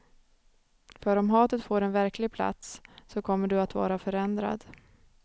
För om hatet får en verklig plats, så kommer du att vara förändrad.